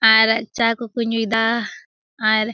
आर चाय को को नुईदा आर।